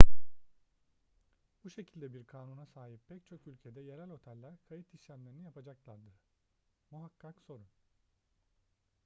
bu şekilde bir kanuna sahip pek çok ülkede yerel oteller kayıt işlemlerini yapacaklardır muhakkak sorun